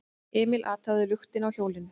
Emil athugaði luktina á hjólinu.